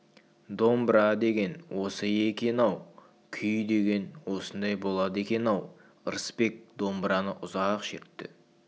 домбыра деген осы екен-ау күй деген осындай болады екен-ау ырысбек домбыраны ұзақ шертті